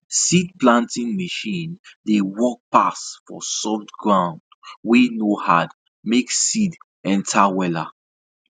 seed planting machine dey work pass for soft ground wey no hard make seed enter wella